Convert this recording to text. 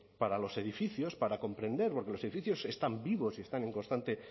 para los edificios para comprender porque los edificios están vivos y están